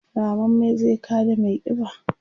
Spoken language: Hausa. rammamme zai kada maiƙiba?